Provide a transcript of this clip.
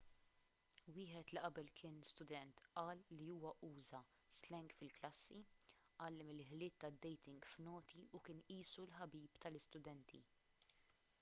wieħed li qabel kien student qal li huwa uża s-slang fil-klassi għallem il-ħiliet tad-dating f'noti u kien qisu l-ħabib tal-istudenti'